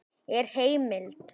Er heimild?